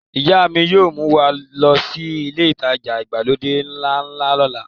Ìyá mi yóò mú wa lọ sí ilé ìtajà ìgbàlódé ńlá náà lọ́la.